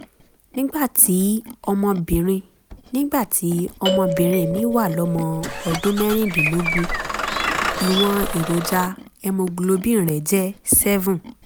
nígbà tí ọmọbìnrin nígbà tí ọmọbìnrin mi wà lọ́mọ ọdún mẹ́rìndínlógún ìwọ̀n èròjà hemoglobin rẹ̀ jẹ́ 7